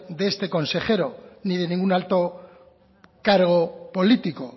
de este consejero ni de ningún alto cargo político